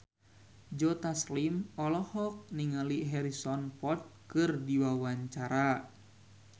Joe Taslim olohok ningali Harrison Ford keur diwawancara